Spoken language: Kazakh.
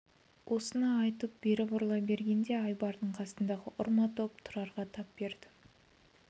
осыны айтып бері бұрыла бергенде айбардың қасындағы ұрма топ тұрарға тап берді